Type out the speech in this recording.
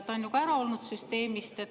Ta on ju ka süsteemist väljas olnud.